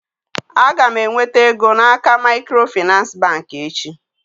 Aga m enweta ego n'aka macro Finance bank echi.